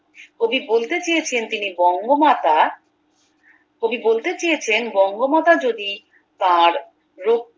কবি বলতে চেয়েছেন তিনি বঙ্গমাতা কবি বলতে চেয়েছেন বঙ্গমাতা যদি তার